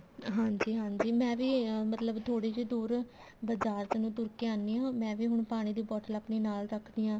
ਹਾਂਜੀ ਹਾਂਜੀ ਮੈਂ ਵੀ ਮਤਲਬ ਥੋੜੀ ਜੀ ਦੂਰ ਬਜਾਰ ਚ ਨੂੰ ਤੁਰ ਕੇ ਆਨੀ ਹਾਂ ਮੈਂ ਵੀ ਹੁਣ ਪਾਣੀ ਦੀ bottle ਆਪਣੀ ਰੱਖਦੀ ਹਾਂ